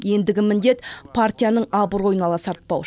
ендігі міндет партияның абыройын ала сартпау